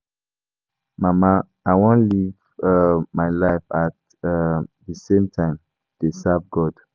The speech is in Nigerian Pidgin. Mama I wan live um my life at um the same time dey serve God.